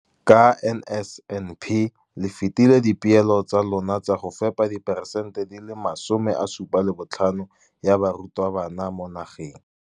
ka NSNP le fetile dipeelo tsa lona tsa go fepa diperesente tse 75 ya barutwana ba mo nageng.